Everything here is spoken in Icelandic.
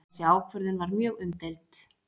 Þessi ákvörðun var mjög umdeild